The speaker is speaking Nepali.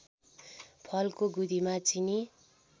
फलको गुदीमा चिनी